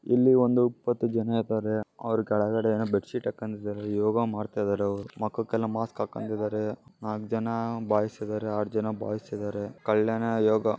ಇಲ್ಲಿ ಒಂದು ಇಪ್ಪತ್ತು ಜನ ಇದಾರೆ ಅವ್ರ ಕೆಳಗಡೆ ಏನ ಬೆಡ್ ಶೀಟ್ ಅಕಂಡಿದರೆ ಯೋಗ ಮಾಡ್ತಾಯಿದಾರೆ ಅವ್ರು ಮಕಕ್ಕೆಲ್ಲಾ ಮಾಸ್ಕ್ ಆಕಂಡಿದರೆ ನಾಕ್ ಜನ ಬಾಯ್ಸ್ ಇದಾರೆ ಆರ್ ಜನ ಬಾಯ್ಸ್ ಇದಾರೆ ಕಲ್ಯಾಣ ಯೋಗ.